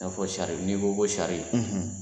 N'a fɔ sari , n'i ko ko sari